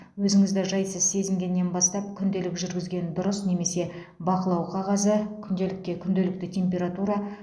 өзіңізді жайсыз сезінгеннен бастап күнделік жүргізген дұрыс немесе бақылау қағазы күнделікке күнделікті температура